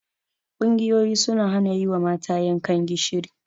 Ƙungiyoyi suna hana yi wa mata yankan gishiri.